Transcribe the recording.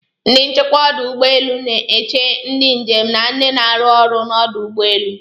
Ndị nchekwa ọdụ ụgbọelu n'eche ndị njem na ndị n'aru ọrụ n'ọdụ ụgbọelu.